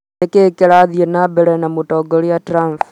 Nĩ kĩĩ kĩrathiĩ na mbele na Mũtongoria Trump